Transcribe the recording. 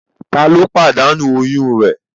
Tá ló pàdánù oyún rẹ̀?